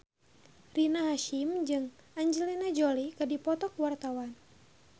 Rina Hasyim jeung Angelina Jolie keur dipoto ku wartawan